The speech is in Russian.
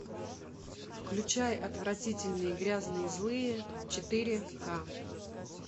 включай отвратительные грязные злые четыре ка